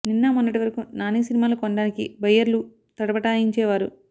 నిన్న మొన్నటి వరకు నాని సినిమాలు కొనడానికి బయ్యర్లు తటపటాయించే వారు